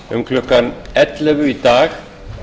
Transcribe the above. um klukkan ellefu í dag